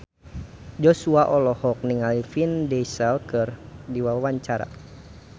Joshua olohok ningali Vin Diesel keur diwawancara